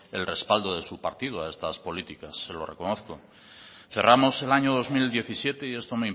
el respaldo de su partido a estas políticas se lo reconozco cerramos el año dos mil diecisiete y esto